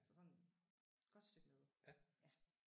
Så sådan godt stykke nede ja